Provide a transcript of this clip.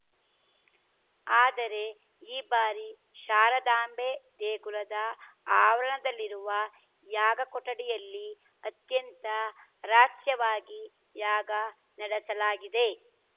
ಆದರೆ ಈ ಬಾರಿ ಶಾರದಾಂಬೆ ದೇಗುಲದ ಆವರಣದಲ್ಲಿರುವ ಯಾಗ ಕೊಠಡಿಯಲ್ಲಿ ಅತ್ಯಂತ ರಹಸ್ಯವಾಗಿ ಯಾಗ ನಡೆಸಲಾಗಿದೆ